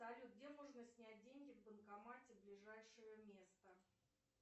салют где можно снять деньги в банкомате ближайшее место